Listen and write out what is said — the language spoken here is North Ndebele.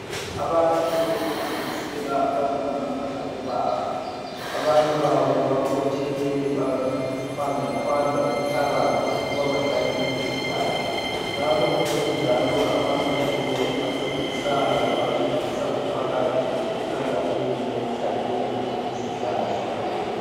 Abantu okuhlanganisela omama labo baba abanye babo bakhotheme, bayaqhwanda qhwanda umhlabathi ukuba bahlanyele izihlahla, lapha kukhona njalo amabutho ancedisayo, ancedisa umphakathi emkhankasweni wokuhlanyela izihlahla.